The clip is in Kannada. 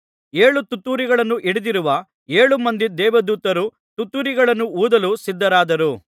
ಏಳು ತುತ್ತೂರಿಗಳನ್ನು ಹಿಡಿದಿರುವ ಏಳು ಮಂದಿ ದೇವದೂತರು ತುತ್ತೂರಿಗಳನ್ನು ಊದಲು ಸಿದ್ಧರಾದರು